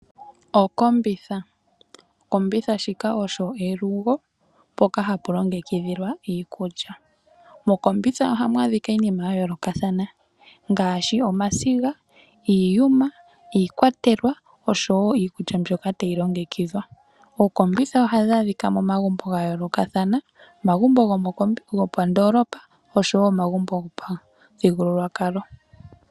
Okombitha Okombitha shika osho elugo mpoka hapu longekidhilwa iikulya. Mokombitha ohamu adhika iinima ya yoolokathana ngaashi omasiga, iiyuma, iikwatelwa oshowo iikulya mbyoka tayi longekidhwa. Ookombitha ohadhi adhika momagumbo ga yoolokathana, omagumbo gomondoolopa oshowo omagumbo gopamuthigululwakalo.